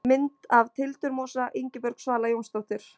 Mynd af tildurmosa: Ingibjörg Svala Jónsdóttir.